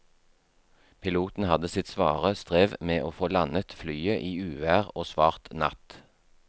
Piloten hadde sitt svare strev med å få landet flyet i uvær og svart natt.